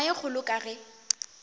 tema ye kgolo ka ge